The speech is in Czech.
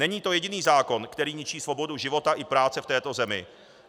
Není to jediný zákon, který ničí svobodu života i práce v této zemi.